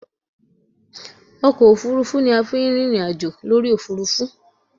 Ọkọ òfuurufú ni a fi ń rìnrìn àjò lórí òfuurufú